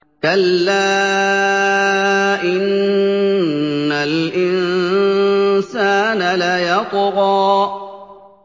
كَلَّا إِنَّ الْإِنسَانَ لَيَطْغَىٰ